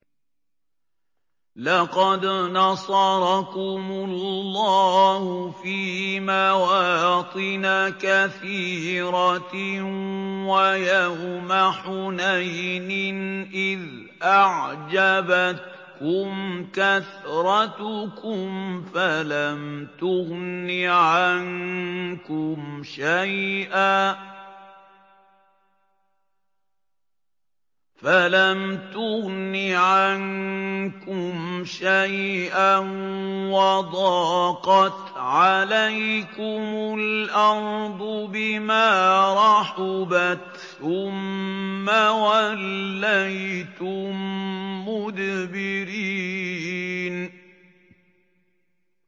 لَقَدْ نَصَرَكُمُ اللَّهُ فِي مَوَاطِنَ كَثِيرَةٍ ۙ وَيَوْمَ حُنَيْنٍ ۙ إِذْ أَعْجَبَتْكُمْ كَثْرَتُكُمْ فَلَمْ تُغْنِ عَنكُمْ شَيْئًا وَضَاقَتْ عَلَيْكُمُ الْأَرْضُ بِمَا رَحُبَتْ ثُمَّ وَلَّيْتُم مُّدْبِرِينَ